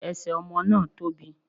Ẹsẹ̀ ọmọ náà tóbi